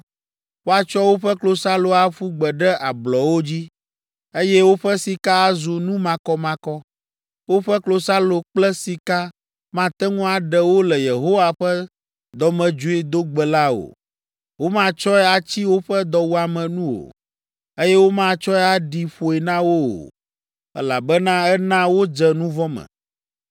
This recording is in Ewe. “ ‘Woatsɔ woƒe klosalo aƒu gbe ɖe ablɔwo dzi, eye woƒe sika azu nu makɔmakɔ. Woƒe klosalo kple sika mate ŋu aɖe wo le Yehowa ƒe dɔmedzoedogbe la o. Womatsɔe atsi woƒe dɔwuame nu o, eye womatsɔe aɖi ƒoe na wo o, elabena ena wodze nu vɔ̃ me.